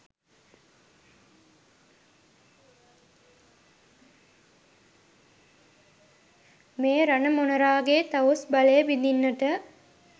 මේ රණ මොණරාගේ තවුස් බලය බිඳින්නට